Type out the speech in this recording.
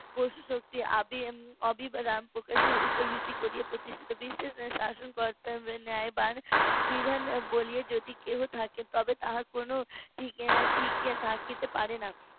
প্রশস্তি আবি~ এম~ অবিরাম পুলিশের ওপর ভিত্তি করে প্রতিষ্ঠিত বিশ্বাস শাসন করতে হবে ন্যায় বা বিধান বলিয়ে যদি কেউ থাকে তবে তার কোনও ঠিক ঠিক থাকতে পারে না